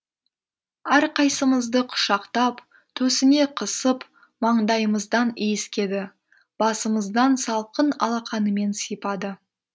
әрқайсымызды құшақтап төсіне қысып маңдайымыздан иіскеді басымыздан салқын алақанымен сипады